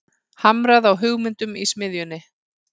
Hamrað á hugmyndum í smiðjunni